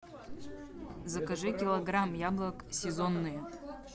закажи килограмм яблок сезонные